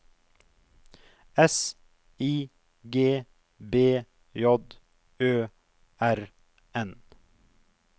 S I G B J Ø R N